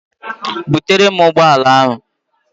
Butere m ụgbọala ahụ!